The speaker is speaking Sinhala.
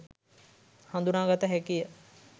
හදුනාගත හැකිය.